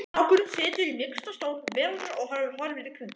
Strákurinn situr í mýksta stól veraldar og horfir í kring